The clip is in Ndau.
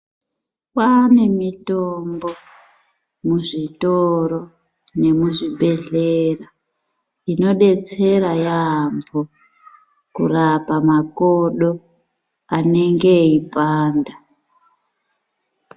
Kwaane mitombo kuzvitoro nemuzvibhedhlera inodetsera yaambo kurapa makodo anenge eipanda.